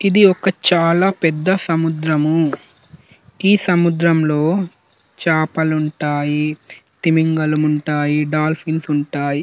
ఇది ఓక చాల పెద్ద సముద్రము. ఈ సముద్రము లో చాపలుంటాయి తిమింగలం ఉంటాయి డాల్ఫిన్స్ ఉంటాయి.